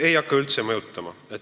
Ei hakka üldse mõjutama.